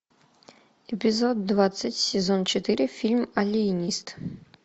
эпизод двадцать сезон четыре фильм алиенист